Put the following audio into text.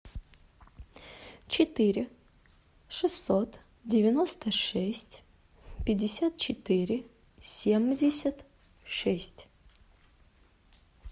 четыре шестьсот девяносто шесть пятьдесят четыре семьдесят шесть